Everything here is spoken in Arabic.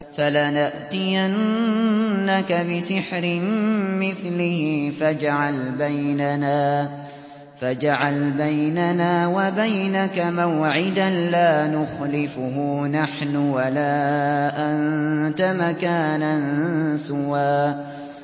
فَلَنَأْتِيَنَّكَ بِسِحْرٍ مِّثْلِهِ فَاجْعَلْ بَيْنَنَا وَبَيْنَكَ مَوْعِدًا لَّا نُخْلِفُهُ نَحْنُ وَلَا أَنتَ مَكَانًا سُوًى